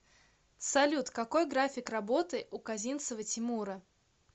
салют какой график работы у козинцева тимура